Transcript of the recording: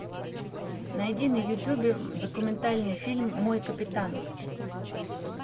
найди на ютубе документальный фильм мой капитан